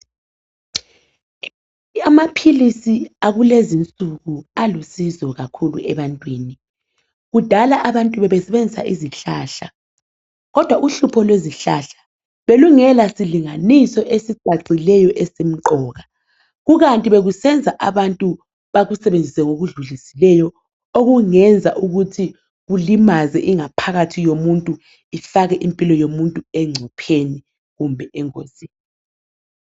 Amaphilisi akulezi insuku alusizo kakhulu ebantwini kudala abantu bebesebenzisa izihlahla, kodwa uhlupho lwezihlahla belungela silinganiso esicacileyo esimqoka kukanti bekusenza abantu bakusebenzise ngokudlulisileyo okungenza ukuthi kulimaze ingaphakathi yomuntu ifake impilo yomuntu encupheni kumbe engozini.